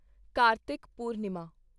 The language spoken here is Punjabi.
ਕਾਰਤਿਕ ਪੂਰਨਿਮਾ